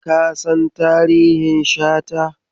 Ka san tarihin Shata?